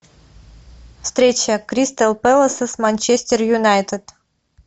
встреча кристал пэласа с манчестер юнайтед